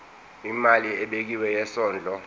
imali ebekiwe yesondlo